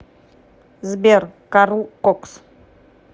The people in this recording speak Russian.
сбер карл кокс